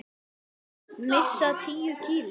Missa tíu kíló.